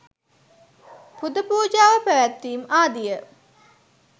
පුද පූජාව පැවැත්වීම් ආදිය